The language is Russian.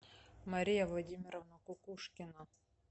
мария владимировна кукушкина